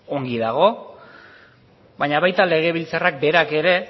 ongi dago baina baita legebiltzarrak berak ere